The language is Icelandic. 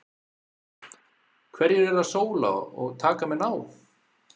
Hverjir eru að sóla og taka menn á?